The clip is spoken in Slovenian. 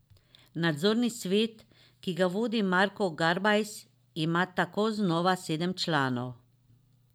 Nadzorni svet, ki ga vodi Marko Garbajs, ima tako znova sedem članov.